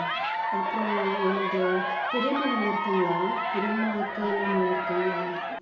அப்புறம் என்னது பெரியம்மா நல்லா இருக்காங்களா பெரியம்மா அக்கா எல்லாரும் நல்லா இருக்காங்களா